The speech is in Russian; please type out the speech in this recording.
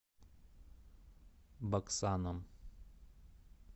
баксаном